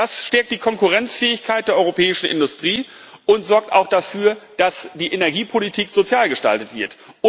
Das stärkt die Konkurrenzfähigkeit der europäischen Industrie und sorgt auch dafür, dass die Energiepolitik sozial gestaltet wird.